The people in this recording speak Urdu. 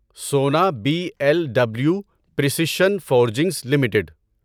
سونا B L W precision forgings limited